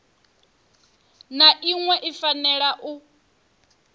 na iṅwe i fanela u